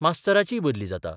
मास्तराचीय बदली जाता.